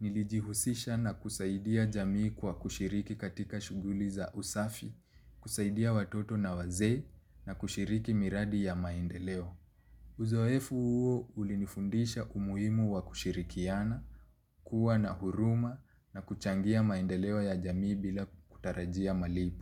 Nilijihusisha na kusaidia jamii kwa kushiriki katika shuguli za usafi, kusaidia watoto na wazee na kushiriki miradi ya maendeleo. Uzoefu huo ulinifundisha umuimu wa kushirikiana, kuwa na huruma na kuchangia maendeleo ya jamii bila kutarajia malipo.